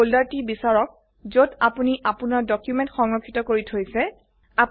ইায়ত ফোল্ডাৰটি বিচাৰক যত আপোনি আপোনাৰ ডকুমেন্ট সংৰক্ষিত কৰি থৈছে